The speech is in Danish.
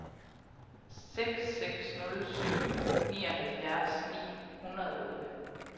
seks seks nul syv nioghalvfjerds ni hundrede og otte